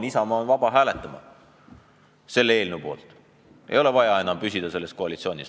Isamaa on vaba hääletama selle eelnõu poolt, ei ole vaja enam püsida selles koalitsioonis.